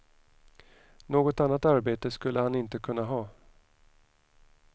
Något annat arbete skulle han inte kunna ha.